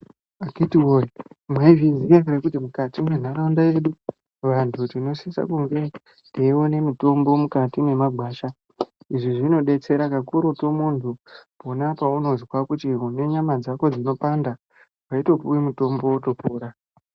Akhiti woye, mwaizviziya here kuti mukati mwentaraunda yedu vantu tinosise kunge teione mutombo mukati mwemagwasha. Izvi zvinodetsera kakurutu muntu pona paunozwa kuti une nyama dzako dzinopanda, wotopuwe mutombo wotopora.